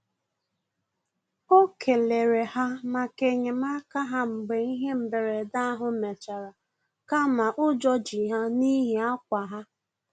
O kelere ha maka enyemaka ha mgbe ihe mberede ahụ mechara kama ụjọ ji ya n'ihi akwa ha